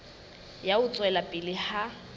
ya ho tswela pele ha